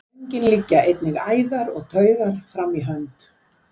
Um göngin liggja einnig æðar og taugar fram í hönd.